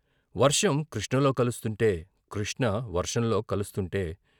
వర్షం కృష్ణలో కలుస్తుంటే, కృష్ణ వర్షంలో కలుస్తుంటే.